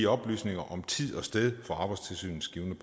oplysninger om tid og sted for arbejdstilsynets givne